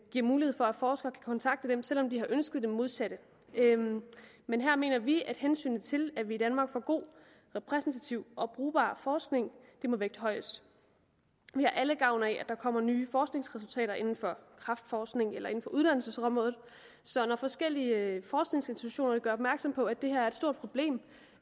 giver mulighed for at forskere kan kontakte dem selv om de har ønsket det modsatte men her mener vi at hensynet til at vi i danmark får god repræsentativ og brugbar forskning må vægte højest vi har alle gavn af at der kommer nye forskningsresultater inden for kræftforskning eller inden for uddannelsesområdet så når forskellige forskningsinstitutioner gør opmærksom på at det her er et stort problem